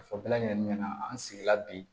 Fɔ bɛɛ lajɛlen ɲɛna an sigila bi